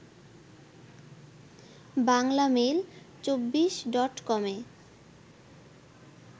বাংলামেইল২৪ডটকমে